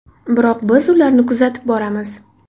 Biroq biz ularni kuzatib boramiz.